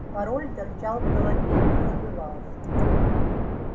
пароль торчал в голове не забывался